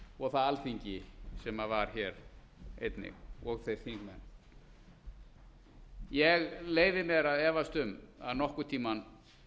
og það alþingi sem var hér einnig og þeir þingmenn ég leyfi mér að efast um að nokkurn tíma